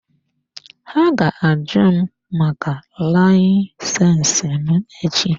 Ha ga-àju m maka layisensi m echi.